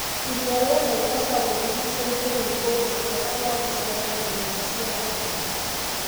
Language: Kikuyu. Iria rĩa Naivasha rĩrigiicĩirio nĩ kũndũ kwega gwa gũceera na nyũmba cia gũkoma.